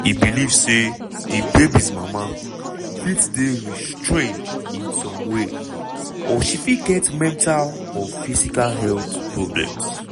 e believe say di babies' mama fit dey restrained in some way - or she fit get mental or physical health problems.